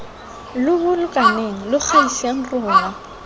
lo bolokaneng lo gaiseng rona